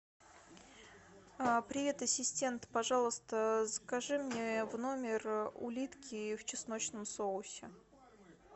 привет ассистент пожалуйста закажи мне в номер улитки в чесночном соусе